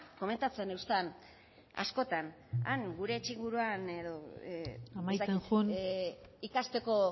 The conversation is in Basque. komentatzen eustan askotan han gure etxe inguruan edo ez dakit amaitzen joan ikasteko